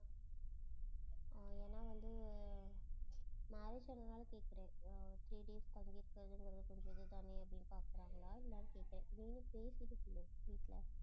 அஹ் ஏன்னா வந்து marriage ஆனதுனால கேட்கிறேன் அஹ் three days தங்கி இருக்கறது கொஞ்சம் இதுதானே அப்படின்னு பார்க்கறாங்களா என்னென்னு கேட்டேன் நீ வேணுனா பேசிட்டு சொல்லு வீட்ல